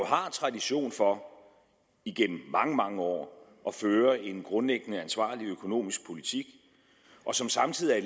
har tradition for igennem mange mange år at føre en grundlæggende ansvarlig økonomisk politik og som samtidig